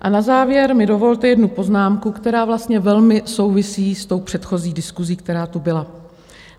A na závěr mi dovolte jednu poznámku, která vlastně velmi souvisí s tou předchozí diskusí, která tu byla.